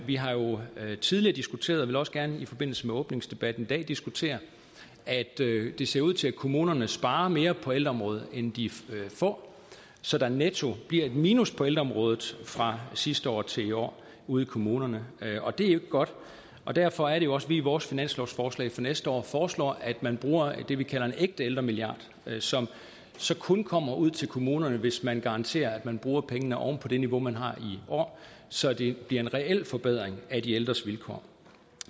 vi har jo tidligere diskuteret og vil også gerne i forbindelse med åbningsdebatten diskutere at det ser ud til at kommunerne sparer mere på ældreområdet end de får så der netto bliver et minus på ældreområdet fra sidste år til i år ude i kommunerne og det er ikke godt derfor er det også at vi i vores finanslovsforslag for næste år foreslår at man bruger det vi kalder en ægte ældremilliard som så kun kommer ud til kommunerne hvis man garanterer at man bruger pengene oven på det niveau man har i år så det bliver en reel forbedring af de ældres vilkår